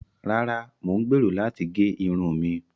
Ràrà, Mo n gbero lati ge irun mi